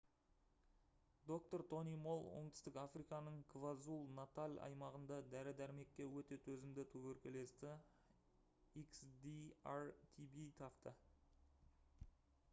доктор тони молл оңтүстік африканың квазулу-наталь аймағында дәрі-дәрмекке өте төзімді туберкулезді xdr-tb тапты